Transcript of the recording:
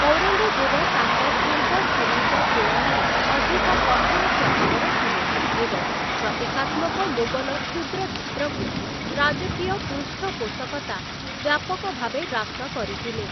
ଔରଙ୍ଗଜେବ ତାଙ୍କ ପୂର୍ବସୂରୀଙ୍କ ତୁଳନାରେ ଅଧିକ କଠୋର ସ୍ୱଭାବର ଥିଲେ ଏବଂ ପ୍ରତୀକାତ୍ମକ ମୋଗଲ କ୍ଷୁଦ୍ର ଚିତ୍ରକୁ ରାଜକୀୟ ପୃଷ୍ଠପୋଷକତା ବ୍ୟାପକଭାବେ ହ୍ରାସ କରିଥିଲେ ।